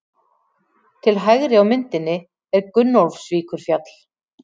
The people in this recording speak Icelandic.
Til hægri á myndinni er Gunnólfsvíkurfjall.